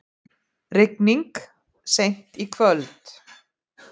Rigning seint í kvöld